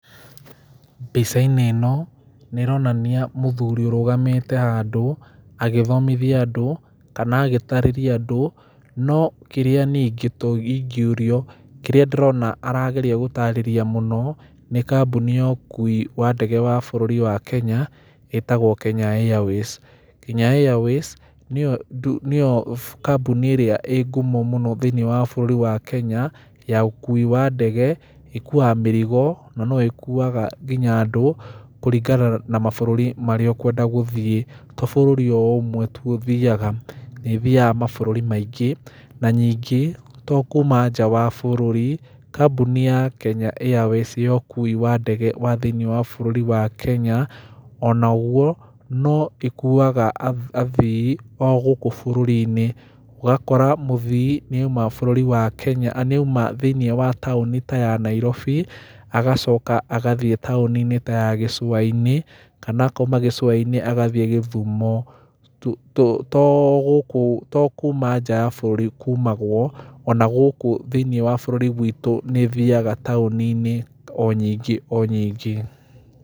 Mbica-inĩ ĩno nĩ ĩronania mũthuri ũrũgamite handũ agĩthomithia andũ kana agĩtarĩrĩria andũ. No kĩrĩa niĩ ingĩ ũrio kĩria arageria gũtarĩrĩria mũno nĩ kambuni ya ũkui ya ndege ya bũrũri wa Kenya ĩtagwo Kenya Airways. Kenya Airways nĩyo kambuni ĩrĩa ĩ ngumo mũno thĩinĩ wa bũrũri wa Kenya ya ũkui wa ndege ĩkuaga mĩrigo na no ĩkuaga nginya andũ kũringana na mabũrũri marĩa ũkwenda gũthiĩ to bũrũri ũmwe tu ũthiaga. Nĩ ĩthiaga mabũruri maingĩ na ningĩ to kuma nja wa bũrũri kambuni ya Kenya Airways ya ũkui wa ndege thĩinĩ wa bũrũri wa Kenya ona ũguo no ĩkuaga athii gũkũ bũrũri-inĩ. Ũgakora mũthii nĩ auma thĩinĩ wa taũni ta ya Nairobi agacoka agathiĩ taũni-inĩ ta ya gĩcua-inĩ kana akauma gicua-inĩ agathiĩ gĩthumo. To kuma nja ya bũrũri kumagwo ona gũkũ thĩini wa bũrũri witũ nĩ ĩthiaga taũni-inĩ o nyingĩ o nyingĩ.